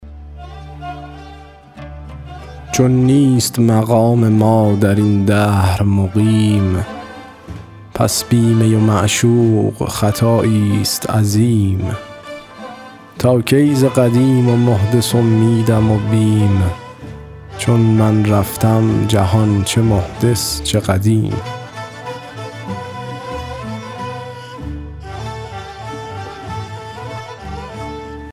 چون نیست مقام ما در این دهر مقیم پس بی می و معشوق خطاییست عظیم تا کی ز قدیم و محدث امیدم و بیم چون من رفتم جهان چه محدث چه قدیم